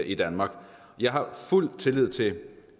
i danmark jeg har fuld tillid til